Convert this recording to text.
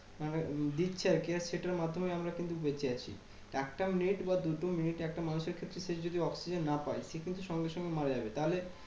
মানে দিচ্ছে আর কি? আর সেটার মাধ্যমে আমরা কিন্তু বেঁচে আছি। একটা মিনিট বা দুটো মিনিট একটা মানুষের ক্ষেত্রে সে যদি oxygen না পায়, সে কিন্তু সঙ্গে সঙ্গে মারা যাবে।